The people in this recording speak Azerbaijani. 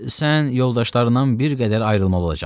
Sən yoldaşlarından bir qədər ayrılmalı olacaqsan.